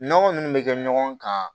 Nɔnɔ minnu bɛ kɛ ɲɔgɔn kan